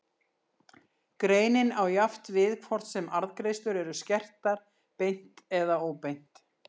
Greinin á jafnt við hvort sem arðgreiðslur eru skertar beint eða óbeint.